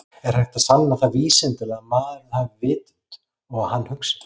Er hægt að sanna það vísindalega að maðurinn hafi vitund og að hann hugsi?